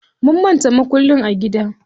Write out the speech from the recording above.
Mun manta mukullin a gida.